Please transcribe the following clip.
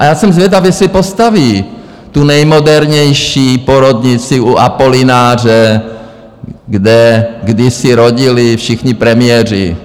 A já jsem zvědav, jestli postaví tu nejmodernější porodnici u Apolináře, kde kdysi rodili všichni premiéři...